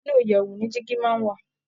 inú ìyèwù ni jígí máa ń wà.